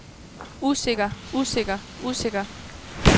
usikker usikker usikker